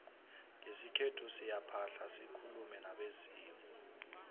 ngesikhethu siyaphahla sikulume nabezimu